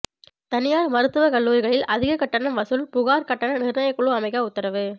தனியார் மருத்துவக்கல்லூரிகளில் அதிக கட்டணம் வசூல் புகார் கட்டண நிர்ணயக்குழு அமைக்க உத்தரவு